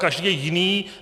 Každý je jiný.